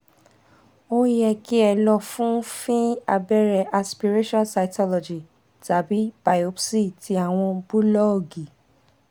o yẹ ki o lọ fun fin abere aspiration cytology tabi biopsy ti awọn bulọọgi